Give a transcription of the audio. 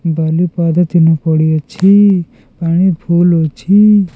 ବାଲି ପାଦ ଚିହ୍ନ ପଡ଼ି ଅଛି ପାଣି ଫୁଲ୍ ଅଛି।